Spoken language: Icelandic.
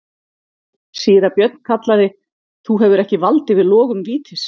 Síra Björn kallaði:-Þú hefur ekki vald yfir logum vítis.